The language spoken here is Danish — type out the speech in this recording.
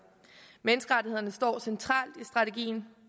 menneskerettighederne står centralt i strategien